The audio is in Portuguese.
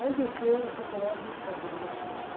Aí desceu, chegou lá, viu um cara fazendo uma ponte.